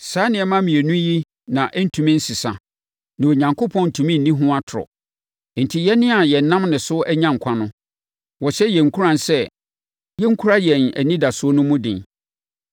Saa nneɛma mmienu yi na ɛrentumi nsesa na Onyankopɔn ntumi nni ho atorɔ. Enti, yɛn a yɛnam ne so anya nkwa no, wɔhyɛ yɛn nkuran sɛ yɛnkura yɛn anidasoɔ no mu den.